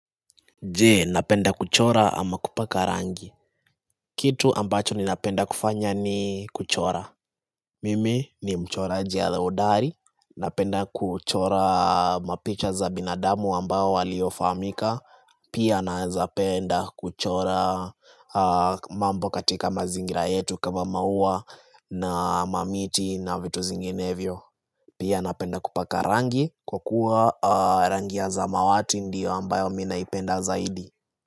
Je, napenda kuchora ama kupaka rangi? Kitu ambacho ninapenda kufanya ni kuchora. Mimi ni mchoraji ale hodari. Napenda kuchora mapicha za binadamu ambao waliofahamika. Pia naezapenda kuchora mambo katika mazingira yetu kama maua na mamiti na vitu zinginevyo. Pia napenda kupaka rangi kwa kuwa rangi ya zamawati ndiyo ambayo m naipenda zaidi.